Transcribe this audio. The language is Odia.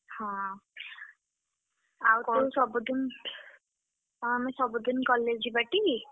ହଁ ସବୁଦିନ୍, ହଁ ଆମେ ସବୁଦିନ୍ college ଯିବା ଟି?